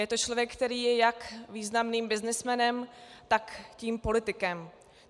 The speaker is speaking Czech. Je to člověk, který je jak významným byznysmenem, tak tím politikem.